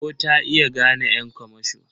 Ko ta iya gane ƴan kamasho?